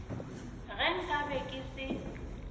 ge nka be ke se